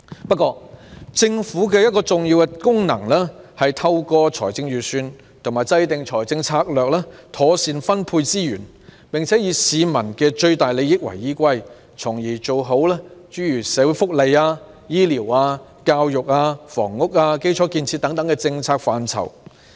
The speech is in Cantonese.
不過，政府的一個重要功能是，透過財政預算和制訂財政策略，妥善分配資源，並且以市民的最大利益為依歸，從而在社會福利、醫療、教育、房屋、基礎建設等政策範疇做到最好。